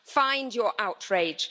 Find your outrage.